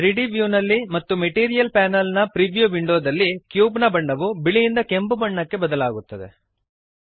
3ದ್ ವ್ಯೂನಲ್ಲಿ ಮತ್ತು ಮೆಟೀರಿಯಲ್ ಪ್ಯಾನಲ್ ನ ಪ್ರಿವ್ಯೂ ವಿಂಡೋದಲ್ಲಿ ಕ್ಯೂಬ್ ನ ಬಣ್ಣವು ಬಿಳಿಯಿಂದ ಕೆಂಪು ಬಣ್ಣಕ್ಕೆ ಬದಲಾಗುತ್ತದೆ